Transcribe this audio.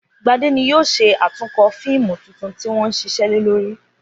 Gbadé ni yóò s̩e àtúnko̩ fíìmù tuntun tí wó̩n ń s̩is̩é̩ lé lórí